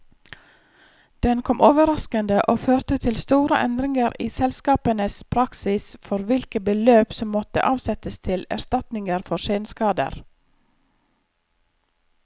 Den kom overraskende, og førte til store endringer i selskapenes praksis for hvilke beløp som måtte avsettes til erstatninger for senskader.